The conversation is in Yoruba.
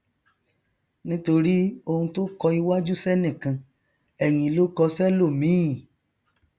nítorí oun tó kọ iwájú sẹnìkan ẹyìn ló kọ sẹlòmíì